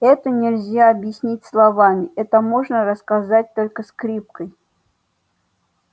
это нельзя объяснить словами это можно рассказать только скрипкой